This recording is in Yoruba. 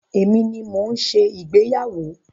Èmi ni mo ń ṣe ìgbéyàwó.